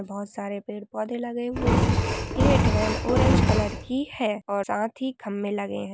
बहोत सारे पेड़ पौधे लगाए हुए है । यह ट्रेन ऑरेंज कलर की है और साथ खंबे लगे हैं ।